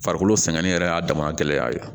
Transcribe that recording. Farikolo sɛgɛn yɛrɛ y'a dama gɛlɛya ye